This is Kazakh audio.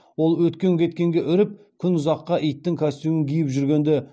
ол өткен кеткенге үріп күн ұзаққа иттің костюмін киіп жүргенді